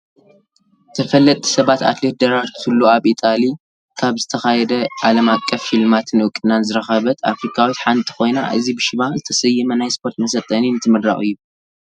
ተፈለጥቲ ሰባት፡- ኣትሌት ደራርቱ ቱሉ ኣብ ኢጣልያ ኣብ ዝተኻደ ዓለም ኣቀፍ ሽልማትን እውቅናን ዝረኸበት ኣፍሪካዊት ሓንቲ ኮይና እዚ ብሽማ ዝተሰየመ ናይ ስፖረት መሰልጠኒ እንትምረቕ እዩ፡፡